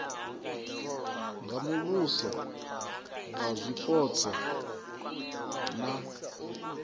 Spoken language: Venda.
nga muvhuso wa zwipotso na